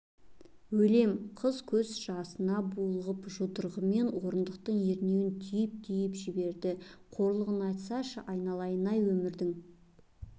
өлем қыз көз жасына булығып жұдырығымен орындықтың ернеуін түйіп-түйіп жіберді қорлығын айтсайшы айналайын-ай өмірдің